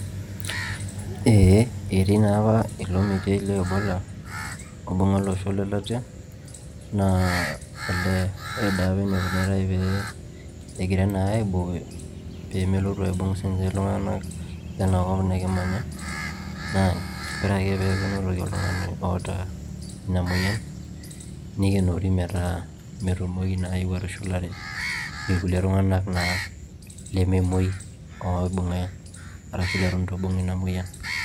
Ee etii naapa ilo meitai le EBOLA oibung'a olosho lelatia naa elee ore naapa eneikunitai pee eigirai naa aibooyo pemelotu aibung' naa sininye iltung'anak lena kop nekimanya naa ore naa peeku enotoki oltung'ani oota ina moyian neikenori metaa metumoki naa atushulare ilkulie tung'anak naa lememoi arashu leitu eeibung' ina moyian